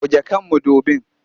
Goge kan mudubin!